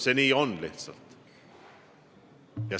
See lihtsalt on nii.